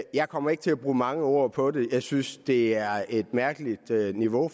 jeg kommer ikke til at bruge mange ord på det jeg synes det er et mærkeligt niveau